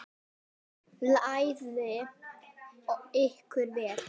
Klæðið ykkur vel.